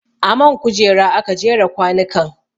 A man kujera aka jera kwanukan